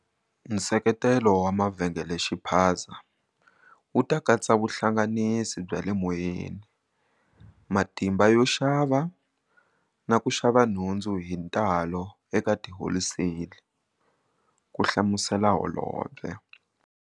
Nseketelo wa mavhengelexiphaza wu ta katsa vuhlanganisi bya le moyeni, matimba yo xava na ku xava nhundzu hi ntalo eka tiholiseli, ku hlamusela holobye.